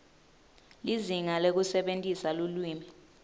lizinga lekusebentisa lulwimi